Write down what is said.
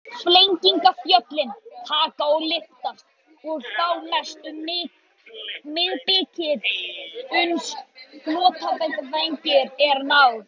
Fellingafjöllin taka að lyftast, og þá mest um miðbikið, uns flotjafnvægi er náð.